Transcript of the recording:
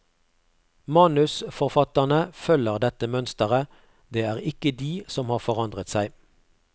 Manusforfatterne følger dette mønsteret, det er ikke de som har forandret seg.